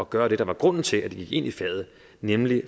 gøre det der var grunden til at de gik ind i faget nemlig